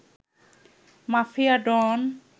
mafia don